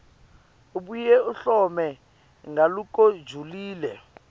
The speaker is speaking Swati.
abuye ahlole ngalokujulile